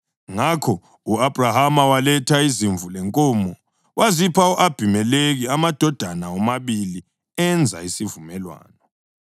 Ngakho u-Abhrahama waletha izimvu lenkomo wazipha u-Abhimelekhi, amadoda womabili enza isivumelwano.